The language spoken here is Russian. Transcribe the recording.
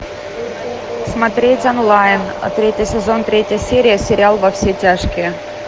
смотреть онлайн третий сезон третья серия сериал во все тяжкие